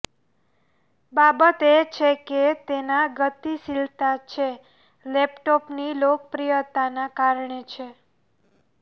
બાબત એ છે કે તેના ગતિશીલતા છે લેપટોપ ની લોકપ્રિયતાના કારણે છે